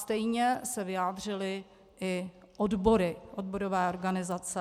Stejně se vyjádřily i odbory, odborové organizace.